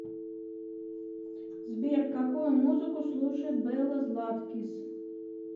сбер какую музыку слушает белла златкис